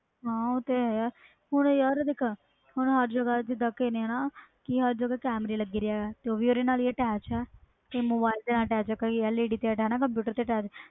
ਹਾਂ ਹੋ ਤੇ ਹੈ ਯਾਰ ਅਹੁਣ ਹਰ ਜਗ੍ਹਾ ਤੇ ਕੈਮਰੇ ਲਗੇ ਦੇ ਉਹ ਵੀ ਓਹਦੇ ਨਾਲ ਹੁੰਦੇ ਆ ਕਈ mobile ਨਾਲ attach ਕਈ l e d ਨਾਲ attach ਆ